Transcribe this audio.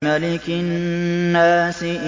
مَلِكِ النَّاسِ